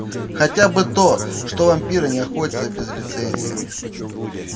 хотя бы то что вампиры не охотятся без лицензии